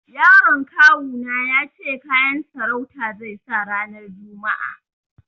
Yaron kawu na ya ce kayan sarauta zai sa ranar juma'a.